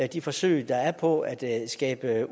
de forsøg der er på at skabe